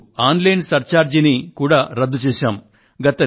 ఇప్పుడు online surcharge ను కూడా రద్దు చేశాము